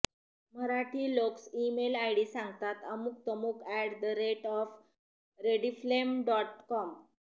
मराठी लोक्स email ID सांगतातः अमुक्तमुक at the rate of Rediffmail dot com